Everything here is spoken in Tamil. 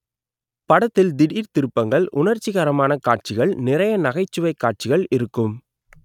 படத்தில் திடீர் திருப்பங்கள் உணர்ச்சிகரமான காட்சிகள் நிறைய நகைச்சுவை காட்சிகள் இருக்கும்